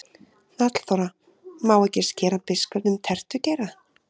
Hnallþóra: Má ekki skera biskupnum tertugeira?